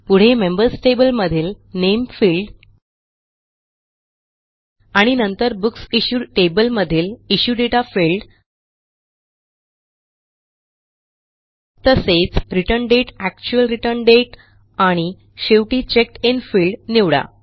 पुढे members table मधील name field आणि नंतर बुकसिश्यूड टेबल मधीलIssue दाते फील्ड तसेच return date actual return date आणि शेवटी चेकडिन फील्ड निवडा